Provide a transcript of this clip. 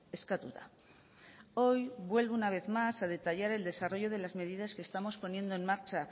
eskatuta hoy vuelvo una vez más a detallar el desarrollo de las medidas que estamos poniendo en marcha